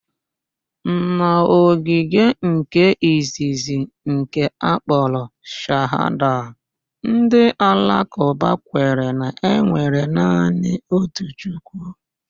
N'ógìdì nke izizi nke akpọrọ Shahada, ndị Alakụba kwere na enwere naanị otu Chukwu.